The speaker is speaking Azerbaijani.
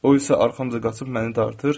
O isə arxamca qaçıb məni dartır.